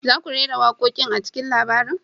Za ku rera waƙoƙin a cikin labarin?